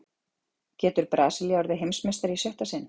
Getur Brasilía orðið Heimsmeistari í sjötta sinn?